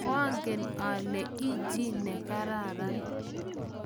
koangen kwekeny ale ichi chii ne kararan